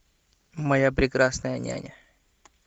моя прекрасная няня